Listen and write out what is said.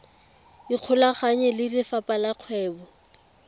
ikgolaganye le lefapha la kgwebo